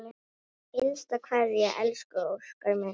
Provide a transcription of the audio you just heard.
HINSTA KVEÐJA Elsku Óskar minn.